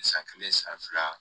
San kelen san fila